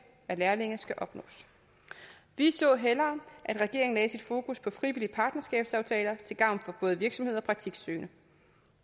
er lærlinge skal opnås vi så hellere at regeringen lagde sit fokus på frivillige partnerskabsaftaler til gavn for både virksomheder og praktiksøgende